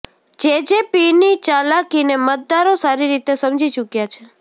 જેજેપીની ચાલાકીને મતદારો સારી રીતે સમજી ચૂક્યા છે